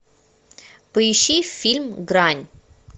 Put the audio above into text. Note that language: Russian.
поищи фильм грань